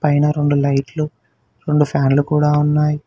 అయినా రెండు లైట్లు రెండు ఫ్యాన్లు కూడా ఉన్నాయ్.